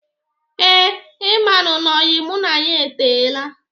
Ee, ị manụ na oyi mụ na ya etela.